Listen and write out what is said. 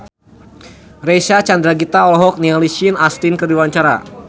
Reysa Chandragitta olohok ningali Sean Astin keur diwawancara